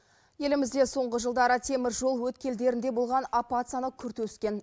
елімізде соңғы жылдары теміржол өткелдерінде болған апат саны күрт өскен